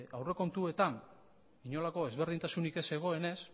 aurrekontuetan inolako ezberdintasunik ez zegoenez